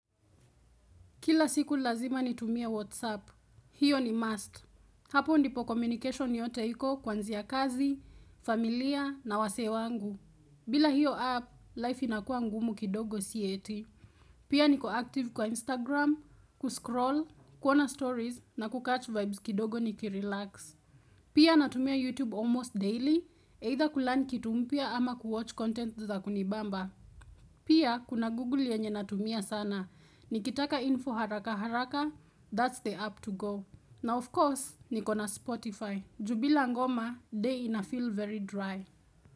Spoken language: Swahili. Kila siku lazima nitumie WhatsApp. Hiyo ni must. Hapo ndipo communication yote iko kwanzi ya kazi, familia na wasee wangu. Bila hiyo app, life inakua ngumu kidogo si eti. Pia niko active kwa Instagram, kuscroll, kuona stories na kucatch vibes kidogo ni kirelax. Pia natumia YouTube almost daily, either kulearn kitu mpya ama kuwatch content za kunibamba. Pia kuna Google yenye natumia sana. Nikitaka info haraka haraka, that's the app to go. Na of course, nikona Spotify. Juu bila ngoma, day inafeel very dry.